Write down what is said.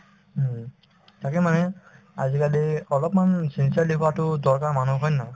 উম, তাকে মানে আজিকালি অলপমান sincerely হোৱাতো দৰকাৰ মানুহৰ হয় নে নহয়